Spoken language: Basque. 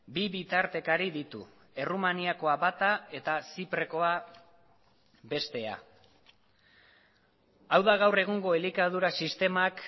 bi bitartekari ditu errumaniakoa bata eta ziprekoa bestea hau da gaur egungo elikadura sistemak